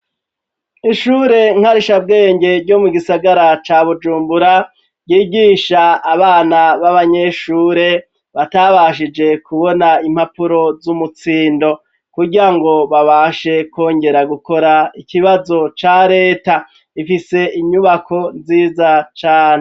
Ishure nkarisha bwenge ryo mu gisagara ca Bujumbura ry'igisha abana baba nyeshure batabashije ku bona impapuro z'umutsindo kugir ngo babashe kongera gukora ikibazo ca reta ifise inyubako nziza cane.